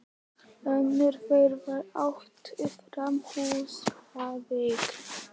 Önnur þeirra var ættuð frá Húsavík.